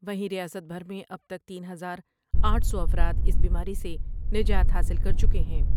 وہیں ریاست بھر میں اب تک تین ہزار آٹھ سو افراداس پیاری سے نجات حاصل کر چکے ہیں ۔